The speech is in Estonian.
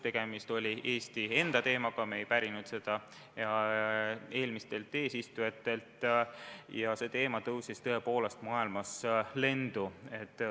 Tegemist oli Eesti enda teemaga, me ei pärinud seda eelmistelt eesistujatelt, ja see teema tõusis tõepoolest maailmas lendu.